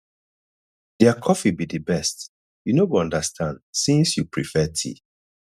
their coffee be the best you no go understand since you prefare tea